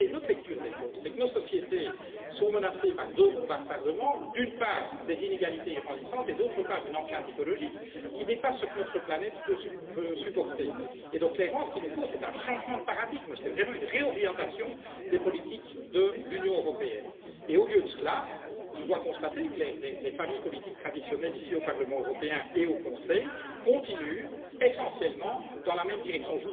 En réalité, notre lecture des choses est que nos sociétés sont menacées par deux bombes à retardement d'une part des inégalités grandissantes et d'autre part, une empreinte écologique qui dépasse ce que notre planète peut supporter. Donc, clairement, il nous faut un changement de paradigme, une réorientation des politiques de l'Union européenne, et au lieu de cela, je dois constater que les familles politiques traditionnelles, ici au Parlement européen et au Conseil, continuent pour l'essentiel dans la même direction.